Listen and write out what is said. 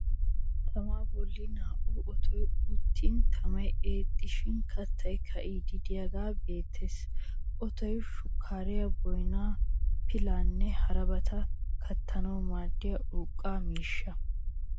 Tamaa bollan naa'uwan otoy uttin tamay eexxishin kattay ka'iiddi de'iyaagee beettes. Otoy shukkariya, boynaa, pilaanne harabata kattanawuu maadiya urqqa miishsha.